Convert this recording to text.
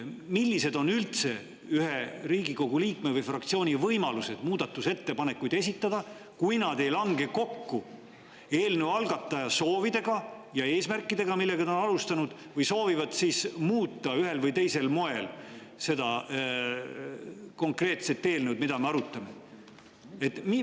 Millised on üldse ühe Riigikogu liikme või fraktsiooni võimalused esitada muudatusettepanekuid, kui need ei lange kokku eelnõu algataja soovide ja eesmärkidega, millega ta on seda alustanud, või kui need soovivad ühel või teisel moel muuta seda konkreetset eelnõu, mida me arutame?